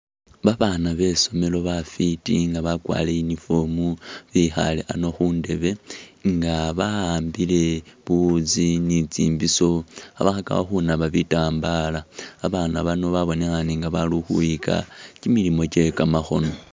Babana besomelo bafiti nga bakwarile uniform bekhale ano khundeebe nga ba'ambile buwutsi ni tsimbisho khabakhakakho khunaba bitambala babana bano babonekhane nga balikhukhwiyika chimilimo chekamakhono